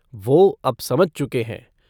वो अब समझ चुके हैं।